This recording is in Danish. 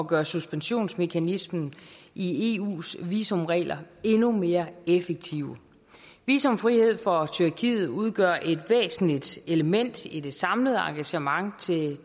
gøre suspensionsmekanismen i eus visumregler endnu mere effektiv visumfrihed for tyrkiet udgør et væsentligt element i det samlede engagement